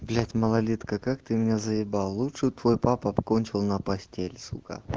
блять малолетка как ты меня заебал лучше б твой папа кончил на постель сука